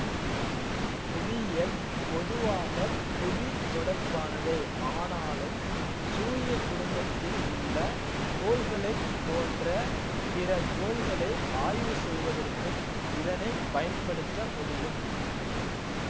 புவியியல் பொதுவாக புவி தொடர்பானதே ஆனாலும் சூரிய குடும்பத்தில் உள்ள கோள்களைப் போன்ற பிற கோள்களை ஆய்வு செய்வதற்கும் இதனை பயன்படுத்த முடியும்